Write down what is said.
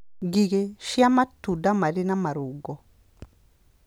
Ngigĩ cia matunda marĩ na marũngo